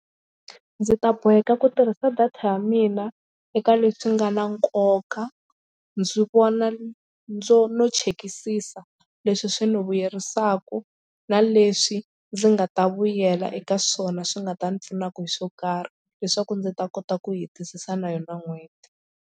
Ndzi ta boheka ku tirhisa data ya mina eka leswi nga na nkoka ndzi vona ndzo no chekisisa leswi swi ndzi vuyerisaka na leswi ndzi nga ta vuyela eka swona swi nga ta ni pfunaka hi swo karhi leswaku ndzi ta kota ku hetisisa na yona n'hweti.